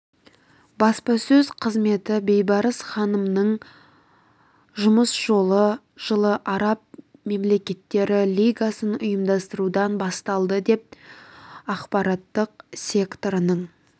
баспасөз қызметі бейбарыс ханымның жұмыс жолы жылы араб мемлекеттері лигасын ұйымдастырудан басталды жылы ақпараттық секторының